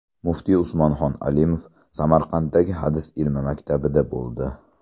Muftiy Usmonxon Alimov Samarqanddagi Hadis ilmi maktabida bo‘ldi.